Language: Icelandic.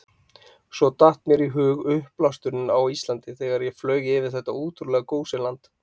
Svo datt mér í hug uppblásturinn á Íslandi, þegar ég flaug yfir þetta ótrúlega gósenland.